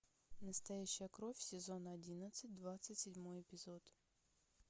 настоящая кровь сезон одиннадцать двадцать седьмой эпизод